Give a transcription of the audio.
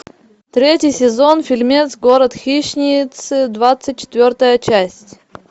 третий сезон фильмец город хищниц двадцать четвертая часть